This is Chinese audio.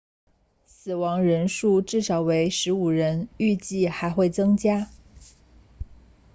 死亡人数至少为15人预计还会增加